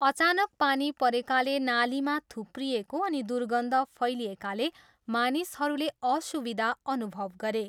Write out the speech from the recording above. अचानक पानी परेकाले नालीमा थुप्रिएको अनि दुर्गन्ध फैलिएकाले मानिसहरूले असुविधा अनुभव गरे।